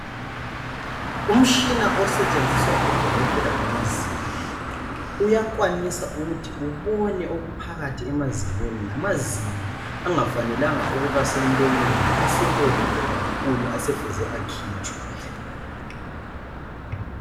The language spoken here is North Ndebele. Umtshina osetshenziswa ngabodokotela bamazinyo uyakwanisa ukuthi ubone okuphakathi emazinyweni , lamazinyo angafanelanga ukuba semlonyeni asebolile kakhulu asefuze akhitshwe.